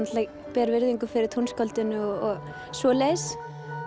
ber virðingu fyrir tónskáldinu og svoleiðis